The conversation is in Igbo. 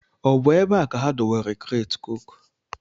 Ọ bụ ebe a ka ha dewere kreeti cooku?